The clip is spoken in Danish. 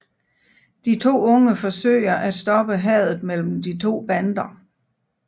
De to unge forsøger at stoppe hadet mellem de to bander